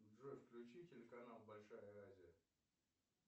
джой включи телеканал большая азия